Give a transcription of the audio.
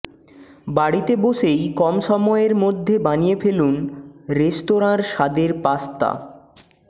বাড়িতে বসেই কম সময়ের মধ্যে বানিয়ে ফেলুন রেস্তোরাঁর স্বাদের পাস্তা